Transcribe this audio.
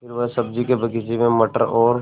फिर वह सब्ज़ी के बगीचे में मटर और